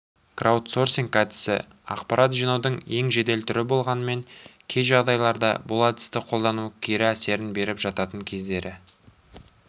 краудсорсинг әдісі ақпарат жинаудың ең жедел түрі болғанымен кей жағдайларда бұл әдісті қолдану кері әсерін беріп жататын кездері